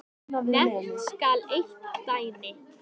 Nefnt skal eitt dæmi.